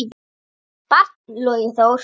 barn: Logi Þór.